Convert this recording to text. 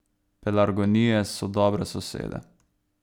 Pelargonije so dobre sosede.